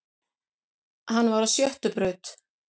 Hann var á sjöttu braut